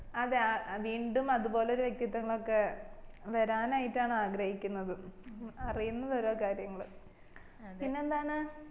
അതെ ആ വീണ്ടും അതുപോലെ ഒരു വ്യക്തിത്വങ്ങളൊക്കെ വരനായിട്ടാണ് ആഗ്രഹിക്കിന്നത് അറിയിന്നത് ഓരോ കാര്യങ്ങള് പിന്നെ എന്താണ്